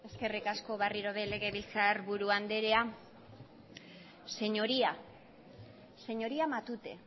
eskerrik asko berriro legebiltzarburu andrea señoría señoría matute